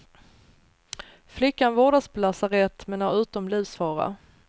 Flickan vårdas på lasarett, men är utom livsfara.